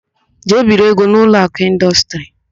Jee biri ego n' Ụlọakụ Ịndọstrị!